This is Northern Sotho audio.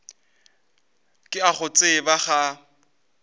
ke a go tseba ga